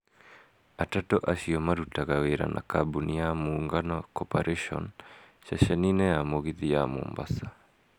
Atatu acio marutaga wĩra na kambuni ya Muungano cooperation(MC) ceceni-inĩ ya mũgithi ya Mombasa.